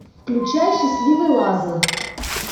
включай счастливый лазарь